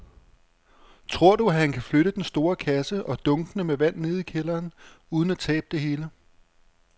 Tror du, at han kan flytte den store kasse og dunkene med vand ned i kælderen uden at tabe det hele?